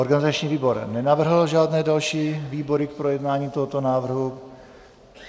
Organizační výbor nenavrhl žádné další výbory k projednání tohoto návrhu.